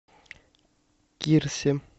кирсе